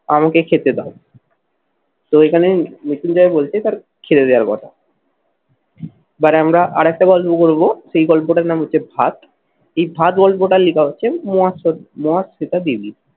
আমাকে খেতে দাও। তো এখানে মৃত্যুঞ্জয়ে বলছে তার ছেড়ে দেওয়ার কথা। এবার আমরা আর একটা গল্প করবো, সেই গল্পটার নাম হচ্ছে ভাত। এই ভাত গল্পটার লেখা হচ্ছে মোহা মহাশ্বেতা দেবী।